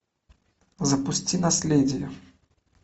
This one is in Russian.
запусти наследие